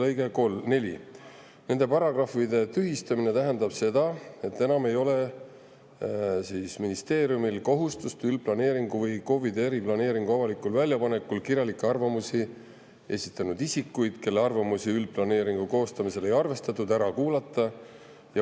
Nende tühistamine tähendab seda, et ministeeriumil ei ole kohustust üldplaneeringu või KOV-ide eriplaneeringu avalikul väljapanekul kirjalikke arvamusi esitanud isikuid, kelle arvamusi üldplaneeringu koostamisel ei arvestatud, ära kuulata.